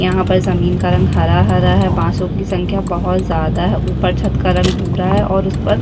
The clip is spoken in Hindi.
यहाँ पर जमीन का रंग हरा-हरा है बांसो की संख्या बहौत ज़्यादा है ऊपर छत्त का रंग भूरा है और उसपर --